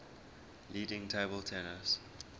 leading table tennis